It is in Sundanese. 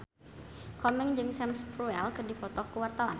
Komeng jeung Sam Spruell keur dipoto ku wartawan